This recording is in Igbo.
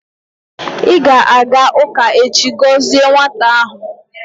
ị ga-aga ụka echi gọzie nwata ahụ?